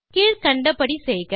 கீழ்க்கண்டபடி செய்க